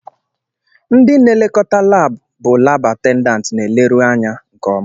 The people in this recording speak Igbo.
Ndị n'elekọta lab bụ lab atendanti na eleru anya nke ọma.